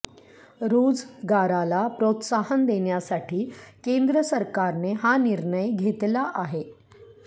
रोजगाराला प्रोत्साहन देण्यासाठी केंद्र सरकारने हा निर्णय घेतला आहे